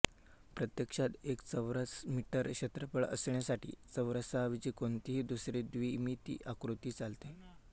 प्रत्यक्षात एक चौरस मीटर क्षेत्रफळ असण्यासाठी चौरसाऐवजी कोणतीही दुसरी द्विमिती आकृती चालते